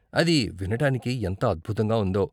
అది వినడానికి ఎంత అద్భుతంగా ఉందో.